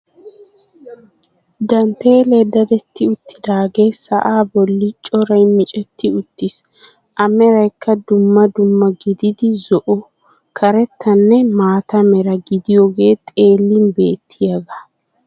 Danteelee dadetti uttidaagee sa'aa bolli coray micetti uttiis. A meraykka dumma dumma gididi zo"o, karettanne maata mera gidiyogee xeellin beettiyagaa.